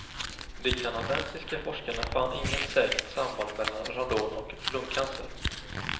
De kanadensiska forskarna fann inget säkert samband mellan radon och lungcancer.